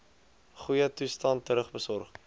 goeie toestand terugbesorg